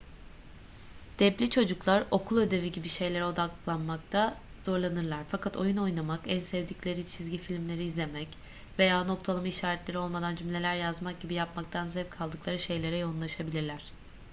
deb'li çocuklar okul ödevi gibi şeylere odaklanmakta zorlanırlar fakat oyun oynamak en sevdikleri çizgi filmleri izlemek veya noktalama işaretleri olmadan cümleler yazmak gibi yapmaktan zevk aldıkları şeylere yoğunlaşabilirler